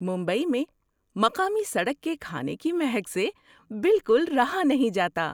ممبئی میں مقامی سڑک کے کھانے کی مہک سے بالکل رہا نہیں جاتا!